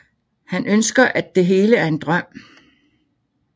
Han ønsker at det hele er en drøm